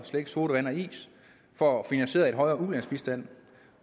sodavand og is for at finansiere en højere ulandsbistand